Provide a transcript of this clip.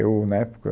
Eu, na época,